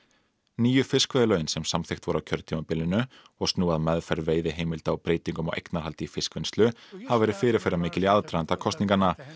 nýju fiskveiðilögin sem samþykkt voru á kjörtímabilinu og snúa að meðferð veiðiheimilda og breytingum á eignarhaldi í fiskvinnslu hafa verið fyrirferðamikil í aðdraganda kosninganna